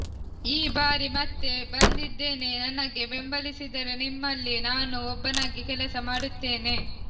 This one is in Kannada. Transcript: ಈ ಬಾರಿ ಮತ್ತೆ ಬಂದಿದ್ದೇನೆ ನನಗೆ ಬೆಂಬಲಿಸಿದರೆ ನಿಮ್ಮಲ್ಲಿ ನಾನೂ ಒಬ್ಬನಾಗಿ ಕೆಲಸ ಮಾಡುತ್ತೇನೆ